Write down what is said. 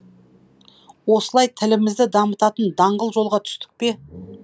осылай тілімізді дамытатын даңғыл жолға түстік пе